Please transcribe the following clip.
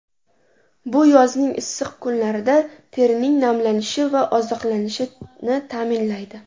Bu yozning issiq kunlarida terining namlanishi va oziqlanishini ta’minlaydi.